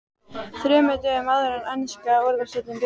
ÞREMUR DÖGUM áður en enska Úrvalsdeildin byrjar?